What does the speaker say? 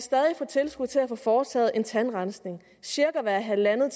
få tilskud til at få foretaget en tandrensning cirka hvert halvandet